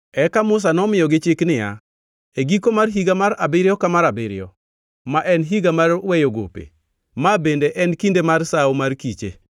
Eka Musa nomiyogi chik niya, “E giko mar higa mar abiriyo ka mar abiriyo, ma en higa mar weyo gope, ma bende en kinde mar Sawo mar kiche,